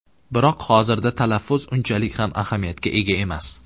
Biroq hozirda talaffuz unchalik ham ahamiyatga ega emas.